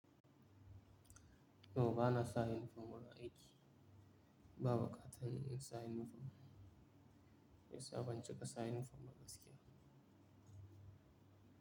No, bana sa uniform muna aiki. Ba buƙatar in sa uniform. Shi yasa ban cika sa uniform ba gaskiya.